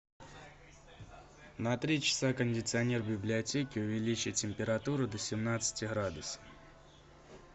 на три часа кондиционер в библиотеке увеличить температуру до семнадцати градусов